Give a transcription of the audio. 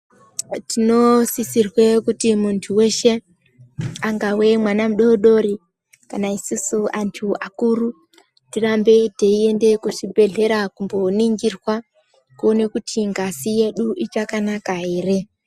Tinosisirwe kuti muntu weshe angawe mwana mudori dori kana isusu acho akuru tirambe teiende kuzvibhedhlera kundoningirwa kuone kuti ngazi yedu ichakanaka here.